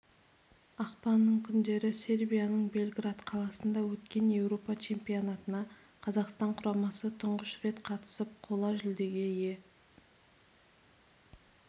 ақпанның күндері сербияның белград қаласында өткен еуропа чемпионатына қазақстан құрамасы тұңғыш рет қатысып қола жүлдеге ие